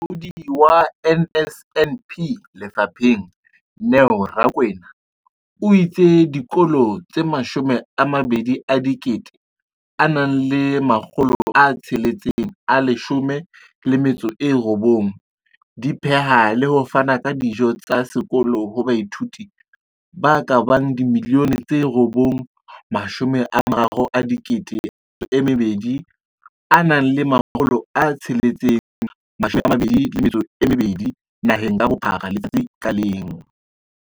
Molaodi wa NSNP lefapheng, Neo Rakwena, o itse dikolo tse 20 619 di pheha le ho fana ka dijo tsa sekolo ho baithuti ba ka bang 9 032 622 naheng ka bophara letsatsi ka leng.